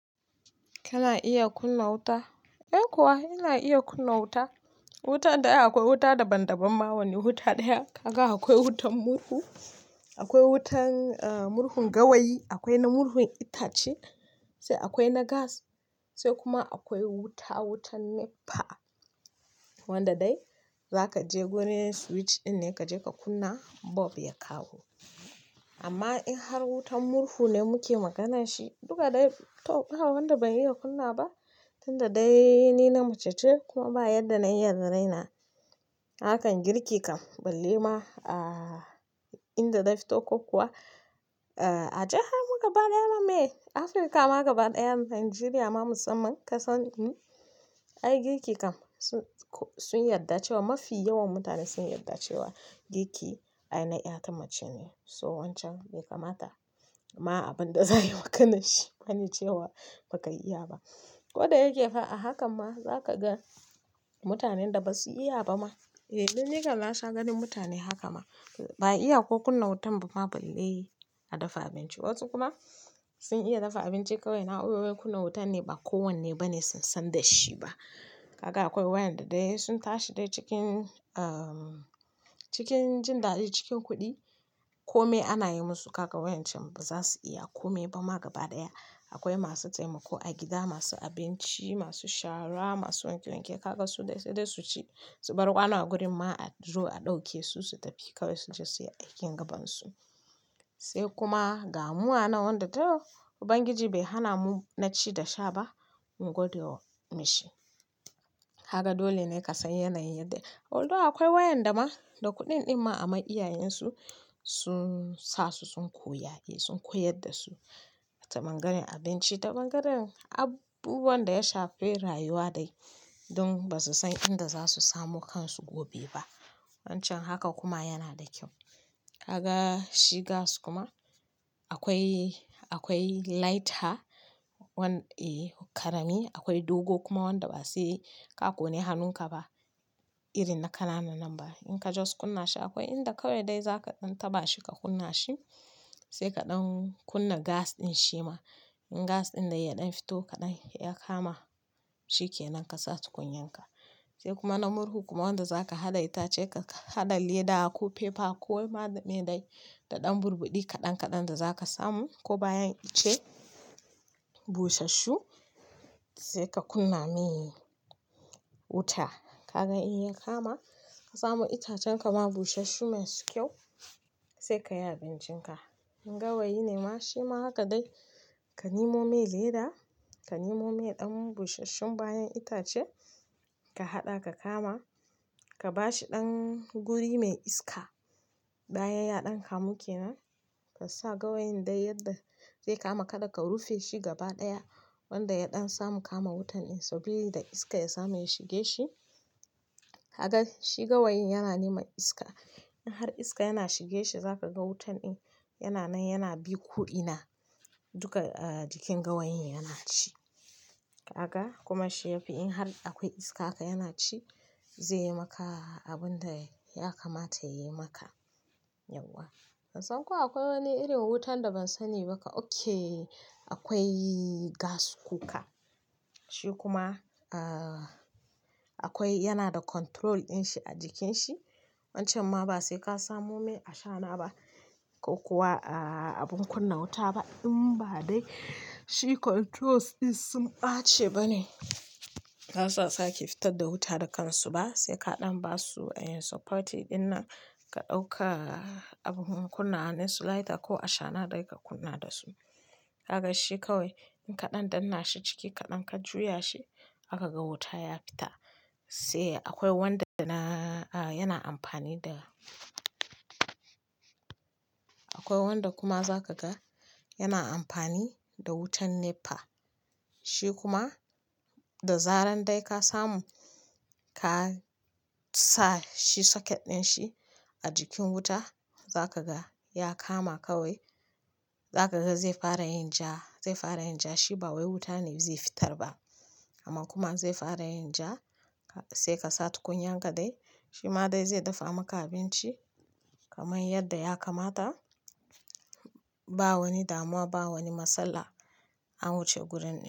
Kana iya kunna wuta? Eh kuwa, ina iya kunna wuta. Wuta dai akwai wuta daban-daban ma wani wuta ɗaya. Kaga akwai wutan murhu, akwai wutan, ah, murhun gawayi, akwai na murhun itace, sai akwai na gas, sai kuma akwai wuta, wutan NEPA. Wanda dai za ka je gurin switch ɗin ne ka je ka kunna, bulb ya kawo. Amma in har wutan murhu ne muke magana shi duka dai, to ba wanda ban iya kunna ba, tunda dai ni na mace ce kuma ba yanda na iya da raina. Harkan girki kam balle ma, ah, inda da na fito ko kuwa, ah, a jihar mu gaba ɗaya ma me, Afirka ma gaba ɗaya, Nijeriya ma musamman kasan mu, ai girki kam sun, sun yarda cewa mafi yawan mutane sun yarda cewa girki aina ƴa tamace ne. So wancan bai kamata ma abin da za ayi maganar shi bani cewa ba ka iya ba. Ko da yake fa a hakan ma za ka ga mutanen da ba su iya ba ma. Eh, lallai kam na sha ganin mutane haka ma. Ba iya ko kunna wutan ba ma balle a dafa abinci. Wasu kuma sun iya dafa abinci kawai na'urorin kunna wutan ne ba kowanne bane sun san da shi ba. Kaga akwai waƴanda dai sun tashi dai cikin, ah, cikin jin daɗi cikin kuɗi. Komai ana yi musu kaga waƴancan ba za su iya. A komai ba ma gaba ɗaya. Akwai masu taimako a gida, masu abinci, masu shara, masu wanke wanke. Kaga su dai sai dai su ci, su bar ƙwano a gurin ma a zo a ɗauke su su tafi kawai su je su yi aikin gabansu. Sai kuma ga mu a nan wanda to Ubangiji bai hana mu na ci da sha ba, mu gwada wa mishi. Haka dole ne ka san yanayin yadda. Although akwai waƴanda ma da kuɗin ɗin ma amma iyayensu sun sa su sun koya, sun koyar da su. Ta ɓangaren abinci, ta ɓangaren abubuwan da ya shafe rayuwa dai. Don ba su san inda za su samu kansu gobe ba. Wancan haka kuma yana da kyau. Kaga shi gas kuma akwai, akwai lighter, wanda, eh, ƙarami akwai dogo kuma wanda ba sai ka ƙone hannunka ba. Irin na ƙananan nan ba. In ka just kunna shi akwai inda kawai dai za ka ɗan taɓa shi ka kunna shi. Sai kaɗan kunna gas ɗin shi ma. In gas ɗin dai ya ɗan fito kaɗan ya kama, shi ke nan ka sa tukunyarka. Sai kuma na murhu kuma wanda za ka haɗa itace ka haɗa leda ko paper ko waɗanda me dai da ɗan burbuɗi kaɗan kaɗan da za ka samu ko bayan ice, busasshu sai ka kunna mai wuta. Kaga in ya kama ka samu itacen ka ma busassu masu kyau sai ka yi abincinka. In gawayi ne ma shi ma haka dai. Ka nemo mai leda, ka nemo mai ɗan busassun bayan itace, ka haɗa ka kama, ka ba shi ɗan guri mai iska. Bayan ya ɗan kamu ke nan. Ka sa gawayin dai yadda zai kama kaɗa ka rufe shi gaba ɗaya. Wanda ya ɗan samu kama wutan in so bai da iska ya samu ya shige shi. Kaga shi gawayin yana neman iska. In har iska yana shige shi za ka ga wutan in yana nan yana bin ko ina. Duka, ah, jikin gawayin yana ci. Kaga kuma shi yafi in har akwai iska haka yana ci, zai yi maka abin da ya kamata ya yi maka. Yauwa. Ban san ko akwai wani irin wutan da ban sani ba kam. Ok, akwai gas cooker. Shi kuma, ah, akwai yana da control ɗin shi a jikin shi. Wancan ma ba sai ka samu mai ashana ba ko kuwa, ah, abun kunna wuta ba in ba dai shi controls ɗin sun ɓace bane. Ba za su saki fitar da wuta da kansu ba sai ka ɗan ba su a yin support ɗin nan ka ɗauka abun kunna wa nasu lighter ko ashana dai ka kunna da su. Kaga shi kawai in ka ɗan danna shi ciki ka ɗan ka juya shi zaka ga wuta ya fita. Sai akwai wanda da na, ah, yana amfani da akwai wanda kuma za ka ga yana amfani da wutan NEPA. Shi kuma da zaran dai ka samu, ka sa shi socket ɗin shi a jikin wuta za ka ga ya kama kawai. Za ka ga zai fara yin ja, zai fara yin ja shi ba wai wuta ne zai fitar ba. Amma kuma zai fara yin ja sai ka sa tukunyan ka dai. Shi ma dai zai dafa maka abinci kamar yadda ya kamata. Ba wani damuwa ba wani matsala a wuce gurin ɗin.